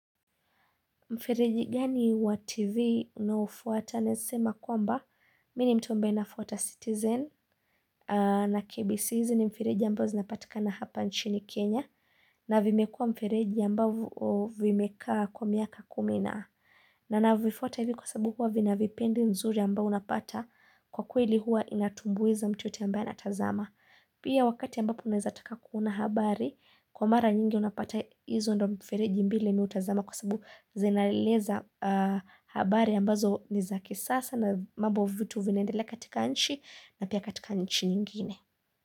Mfereji gani wa TV unaofuata naesema kwamba, mi ni mtu ambae nafuata Citizen na KBCizi ni mfereji ambao zinapatikana hapa nchini Kenya na vimekua mfereji ambavo vimekaa kwa miaka kumi na. Na na vifuata hivi kwa sababu huwa vina vipindi nzuri ambao unapata kwa kweli huwa inatumbuiza mtu yote ambaye anatazama. Pia wakati ambapo unaezataka kuona habari, kwa mara nyingi unapata izo ndo mfereji mbili mi utazama kwa sababu zinaeleza habari ambazo niza kisasa na mambo vitu vinaendele katika nchi na pia katika nchi nyingine.